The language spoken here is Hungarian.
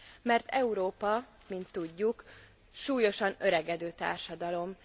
Mert Európa, mint tudjuk, súlyosan öregedő társadalom.